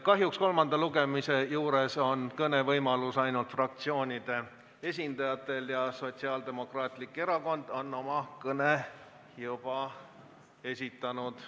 Kahjuks on kolmanda lugemise juures kõnevõimalus ainult fraktsioonide esindajatel ja Sotsiaaldemokraatlik Erakond on oma kõne juba esitanud.